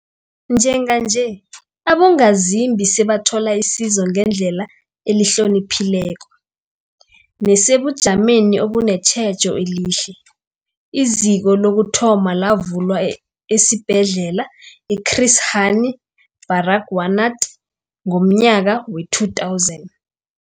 Njenganje, abongazimbi sebathola isizo ngendlela ehloniphekileko nesebujameni obunetjhejo elihle. IZiko lokuthoma lavulwa esiBhedlela i-Chris Hani Baragwanath ngomnyaka we-2000.